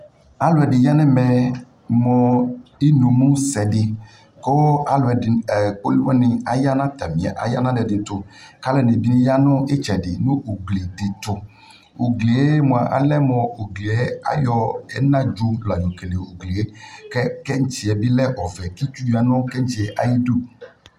Aluɛde ya nɛ,ɛ mo inumu sɛde ko alude ɛɛ, poli wane aya na atame, ɛɛ aya na alɛde to ko ɛde ne ya no itsɛde no ugli de to Uglie moa alɛ mo ugli ayɔ ɛnadzo la yɔ kele uglie kɛ kɛtsiɛ ne lɛ ɔvɛ tsu tsu ya no ayidu